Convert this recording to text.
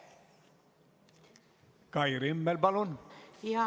Kai Rimmel, palun!